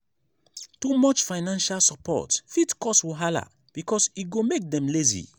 too much financial support fit cause wahala because e go make dem lazy.